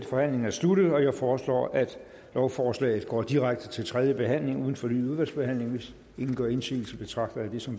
forhandlingen sluttet jeg foreslår at lovforslaget går direkte til tredje behandling uden fornyet udvalgsbehandling hvis ingen gør indsigelse betragter jeg det som